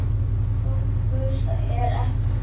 Stóra gusan er ekki komin.